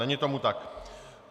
Není tomu tak.